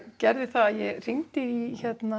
gerði það ég hringdi í